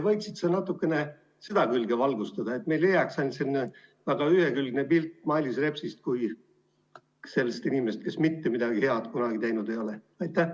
Võiksid sa natukene seda külge valgustada, et meile ei jääks ainult selline ühekülgne pilt Mailis Repsist kui sellisest inimesest, kes mitte midagi head kunagi teinud ei ole?